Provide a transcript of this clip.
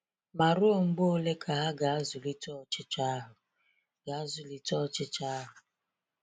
Ma ruo mgbe ole ka ha ga-azụlite ọchịchọ ahụ̀? ga-azụlite ọchịchọ ahụ̀?